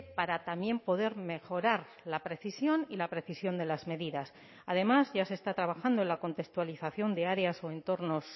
para también poder mejorar la precisión y la precisión de las medidas además ya se está trabajando en la contextualización de áreas o entornos